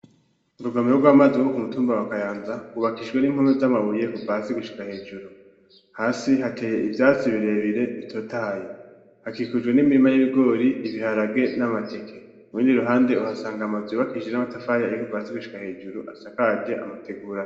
Urugomero rw'amazi rwo ku mutumba wa kayanza wubakijwe n'impome z'amabuye kuva hasi gushika hejuru hasi hateye ivyatsi birebire bitotahaye hakikujwe n'imirima y'ibigori, ibiharage n'amateke murundi ruhande uhasanga amazu yubakikijwe n'amatafari ayi kuva hasi gushika hejuru asakaje amategura.